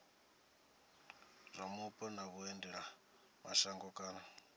zwa mupo na vhuendelamashango kana